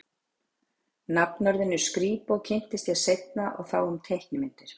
Nafnorðinu skrípó kynntist ég seinna og þá um teiknimyndir.